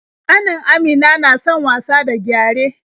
Ƙanin Amina na son wasa da gyare.